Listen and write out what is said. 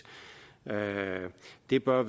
det bør